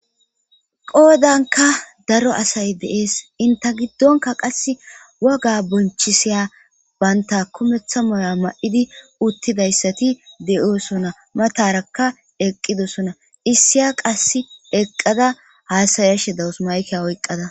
qoodanka daro asay deees inta giddonka qass woga bonchisiya baynta komeththa moya ma7idi uttidayssati de7oosona matarakka eqqidosona issiya qass eqqada haasayashe dawus mayke oyqqada